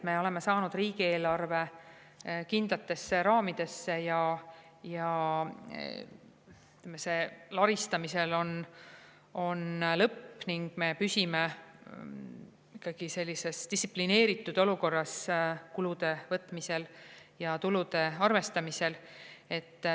Me oleme saanud riigieelarve kindlatesse raamidesse ja laristamisel on ehk lõpp ning me püsime ikkagi sellises distsiplineeritud olukorras kulude võtmisel ja tulude arvestamisel.